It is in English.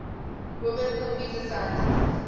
women computer scientists